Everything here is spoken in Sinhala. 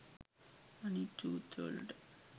අනිත් සූත්‍රවලට